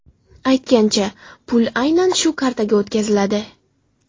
Aytgancha, pul aynan shu kartaga o‘tkaziladi.